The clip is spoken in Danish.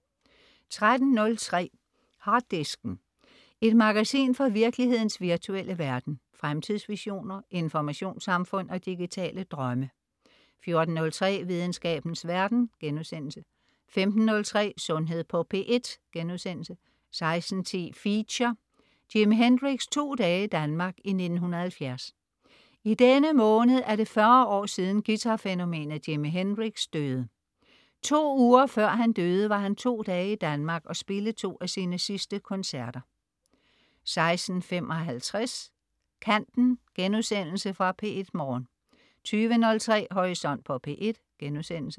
13.03 Harddisken. Et magasin fra virkelighedens virtuelle verden. Fremtidsvisioner, informationssamfund og digitale drømme 14.03 Videnskabens verden* 15.03 Sundhed på P1* 16.10 Feature: Jimi Hendrix' to dage i Danmark, 1970. I denne måned er det 40 år siden guitarfænomenet Jimi Hendrix døde. To uger før han døde, var han to dage i Danmark og spille to af sine sidste koncerter 16.55 Kanten.* Genudsendelse fra P1 Morgen 20.03 Horisont på P1*